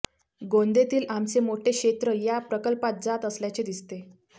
गोंदेतील आमचे मोठे क्षेत्र या प्रकल्पात जात असल्याचे दिसते